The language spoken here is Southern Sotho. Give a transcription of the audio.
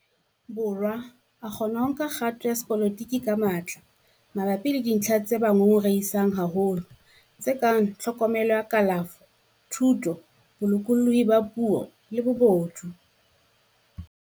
Borwa a kgona ho nka kgato ya sepolotiki ka matla mabapi le dintlha tse ba ngongorehisang haholo, tse kang tlhokomelo ya kalafo, thuto, bolokolohi ba puo le bobodu.